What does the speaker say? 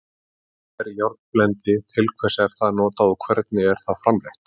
Hvað er járnblendi, til hvers er það notað og hvernig er það framleitt?